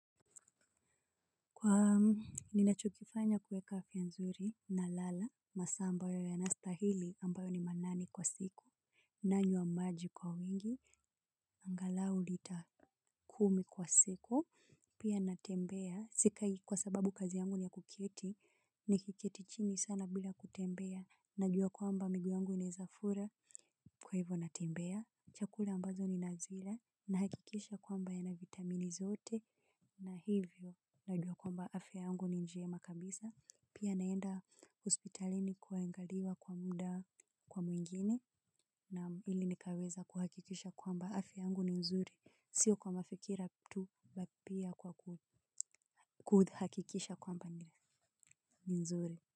Kwa ni nachokifanya kueka afia nzuri na lala, masaa ambayo yanastahili ambayo ni manane kwa siku. Nanywa maji kwa wingi, angalau litakumi kwa siku, pia natembea sikai kwa sababu kazi yangu niya kuketi, ni kikiketi chini sana bila kutembea. Najua kwamba miguu yangu inaezafura kwa hivyo natembea. Chakula ambazo ninazila, nahakikisha kwamba yana vitamini zote na hivyo najua kwamba afya yangu ni njema kabisa, pia naenda hospitalini kuangaliwa kwa muda kwa mwingine na ili nikaweza kuhakikisha kwamba afya yangu ni nzuri, sio kwa mafikira tu bali pia kuhakikisha kwamba nzuri.